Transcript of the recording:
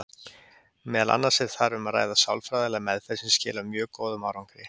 Meðal annars er þar um að ræða sálfræðilega meðferð sem skilar mjög góðum árangri.